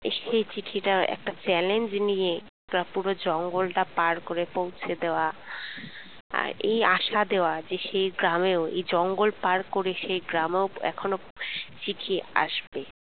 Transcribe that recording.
সেই চিঠিটা একটা challenge নিয়ে পুরো জঙ্গলটা পার করে পৌঁছে দেওয়া আর এই আসা দেওয়া যেসেই গ্রামেওএ ই জঙ্গল পার করে সেই গ্রামেও এখনো চিঠি আসবে